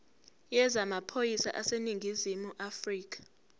yezamaphoyisa aseningizimu afrika